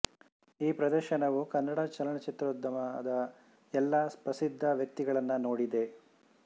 ಈ ಪ್ರದರ್ಶನವು ಕನ್ನಡ ಚಲನಚಿತ್ರೋದ್ಯಮದ ಎಲ್ಲ ಪ್ರಸಿದ್ಧ ವ್ಯಕ್ತಿಗಳನ್ನು ನೋಡಿದೆ